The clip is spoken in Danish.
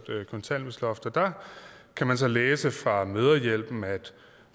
der kan man så læse fra mødrehjælpen at